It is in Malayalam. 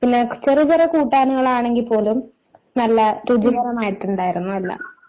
പിന്നെ ചെറിയ ചെറിയ കൂട്ടാനുകൾ ആണെങ്കിൽ പോലും നല്ല രുചികരമായിട്ട് ഉണ്ടായിരുന്നു എല്ലാം